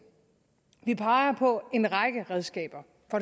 vi peger på en række redskaber